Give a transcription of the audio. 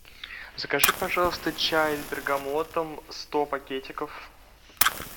закажи пожалуйста чай с бергамотом сто пакетиков